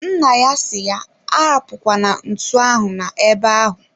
Nna ya si ya arapukwala ntu ahụ na ebe ahu